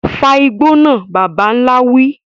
Fa igbó náà, bàbà ńlá wí.